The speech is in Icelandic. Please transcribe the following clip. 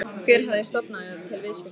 Hver hafi stofnað til viðskiptanna?